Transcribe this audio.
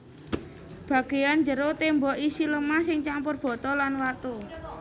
Bagéyan jero témbok isi lemah sing campur bata lan watu